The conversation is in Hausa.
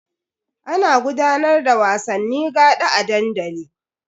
Ana gudanar da wasanni gaɗa a dandali.